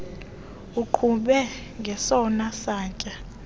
uqhube ngesona satya